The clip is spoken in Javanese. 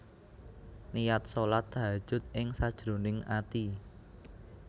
Niat shalat Tahajjud ing sajroning ati